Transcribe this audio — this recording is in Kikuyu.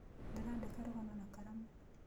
Ndĩraandĩka rũgano na kalamu